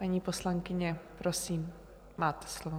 Paní poslankyně, prosím, máte slovo.